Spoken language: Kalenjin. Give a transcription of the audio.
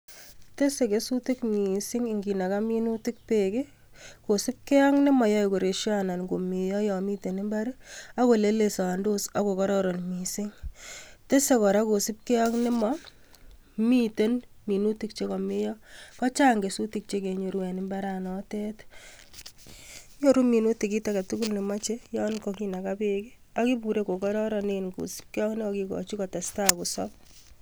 These kesutik mising inginaga minutik bek kosipgei AK nemayae koresio anan komeyoi yamiten imbar akolelesondos akokororon mising tese kora kosibgei AK Nebo miten minutik chegameo ako Chang minutik chekanget en imbaret nyon Yan kakinaka bek kosibgei AK kikochi kotestai kosab